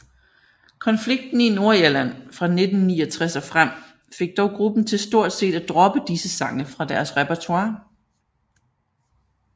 Konflikten i Nordirland fra 1969 og frem fik dog gruppen til stort set at droppe disse sange fra deres repertoire